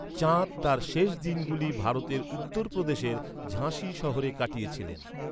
চাঁদ তার শেষ দিনগুলি ভারতের উত্তর প্রদেশের ঝাঁসি শহরে কাটিয়েছিলেন।